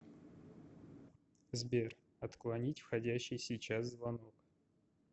сбер отклонить входящий сейчас звонок